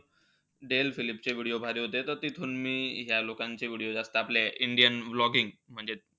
Del फिलिप्सचे video भारी होते. त तिथून मी ह्या लोकांचे video जास्त. आपले indian vlogging म्हणजे,